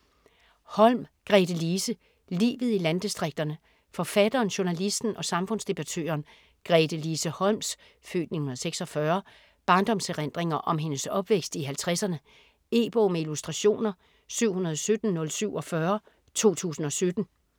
Holm, Gretelise: Livet i landdistrikterne Forfatteren, journalisten og samfundsdebattøren Gretelise Holms (f. 1946) barndomserindringer om hendes opvækst i halvtredserne. E-bog med illustrationer 717047 2017.